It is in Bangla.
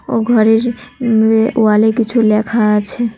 ও ঘরের উম ও ওয়ালে কিছু লেখা আছে।